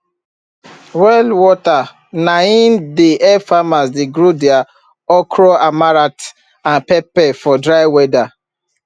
well water nai dey help farmers dey grow their okroamaranth and pepper for dry weather